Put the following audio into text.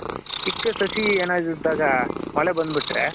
ಚಿಕ್ಕ ಸಸಿ ಇದ್ದಾಗ ಏನಾದ್ರು ಇದ್ದಾಗ ಮಳೆ ಬಂದ್ ಬಿಟ್ರೆ.